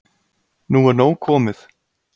Nú er nóg komið